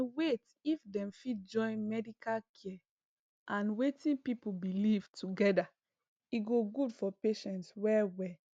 eh wait if dem fit join medical care and wetin people believe together e go good for patients well well